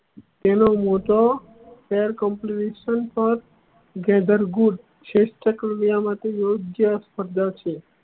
તેનું મોટો પર gather good શ્રેષ્ઠ કાવ્યો માંથી યોગ્ય ર્ધા છે